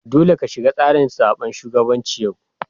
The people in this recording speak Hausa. Dolle ka shiga tsarin zaben shugabancin yau!